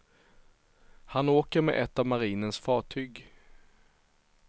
Han åker med ett av marinens fartyg.